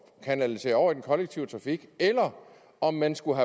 kanalisere over i den kollektive trafik eller om man skulle